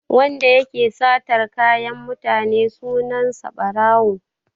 Wanda yake satar kayan mutane sunan sa Ɓarawo.